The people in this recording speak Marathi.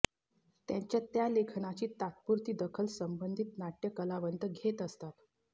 त्यांच्या त्या लेखनाची तात्पुरती दखल संबंधित नाटय कलावंत घेत असतात